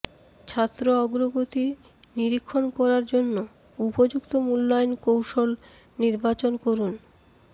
ছাত্র অগ্রগতি নিরীক্ষণ করার জন্য উপযুক্ত মূল্যায়ন কৌশল নির্বাচন করুন